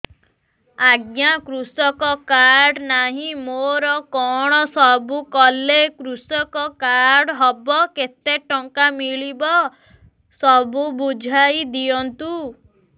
ଆଜ୍ଞା କୃଷକ କାର୍ଡ ନାହିଁ ମୋର କଣ ସବୁ କଲେ କୃଷକ କାର୍ଡ ହବ କେତେ ଟଙ୍କା ମିଳିବ ସବୁ ବୁଝାଇଦିଅନ୍ତୁ